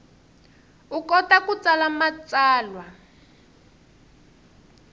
u kota ku tsala matsalwa